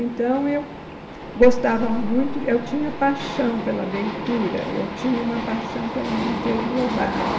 Então, eu gostava muito, eu tinha paixão pela leitura, eu tinha uma paixão pelo Monteiro Lobato.